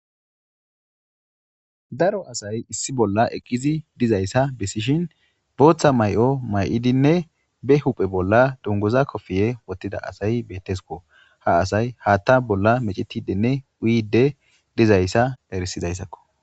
Daro asay issi bolla eqqizi dizayssa bessishin booththa mayo mayidinne be huphe bolla dunguza kofiye wottida asay betteskko. Ha asay haatta bolla mecetidinne uyiidde dizayssa erisizayssakko.